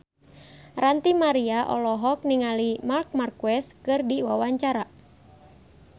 Ranty Maria olohok ningali Marc Marquez keur diwawancara